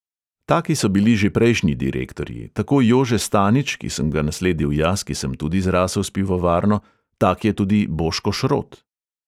Taki so bili že prejšnji direktorji, tako jože stanič, ki sem ga nasledil jaz, ki sem tudi zrasel s pivovarno, tak je tudi boško šrot.